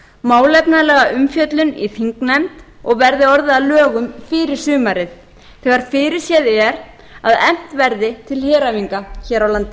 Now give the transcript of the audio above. málefnalega umfjöllun í þingnefnd og verði orðið að lögum fyrir sumarið þegar fyrirséð er að efnt verði til heræfinga hér á landi